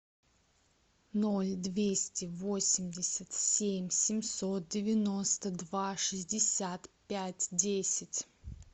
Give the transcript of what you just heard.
ноль двести восемьдесят семь семьсот девяносто два шестьдесят пять десять